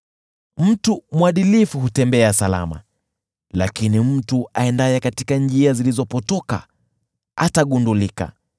Mtu mwadilifu hutembea salama, lakini mtu aendaye katika njia zilizopotoka atagunduliwa.